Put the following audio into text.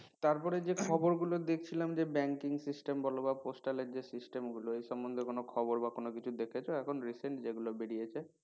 তারপরে যে খবর গুলো দেখছিলাম যে banking system বলো বা postal এর যে system গুলো এ সম্বন্ধে কোনো খবর বা কোনো কিছু দেখেছো এখন recent যেগুলো বেরিয়েছে?